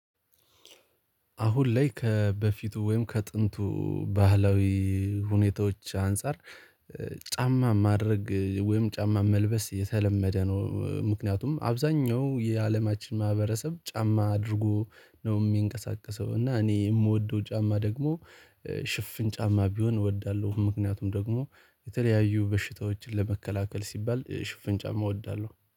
አሁን ላይ ከበፊቱ ወይም ከጥንቱ ባህላዊ ሁኔታዎች አንፃር ጫማ ማድረግ ወይም ጫማ መልበስ የተለመደ ነው። ምክንያቱም አብዛኛው የአለማችን ማህበረሰብ ጫማ አድርጎ ነው ሚንቀሳቀሰው። እና እኔ የምወደው ጫማ ደግሞ ሽፍን ጫማ ቢሆን እወዳለሁ። ምክንያቱም ደግሞ የተለያዩ በሽታዎችን ለመከላከል ሲባል ሽፍን ጫማ እወዳለሁ